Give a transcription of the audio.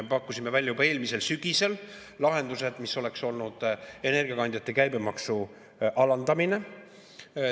Me pakkusime välja juba eelmisel sügisel lahenduse, mis oleks olnud energiakandjate käibemaksu alandamine.